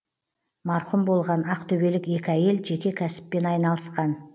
марқұм болған ақтөбелік екі әйел жеке кәсіппен айналысқан